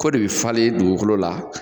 Ko de bi falen dugukolo la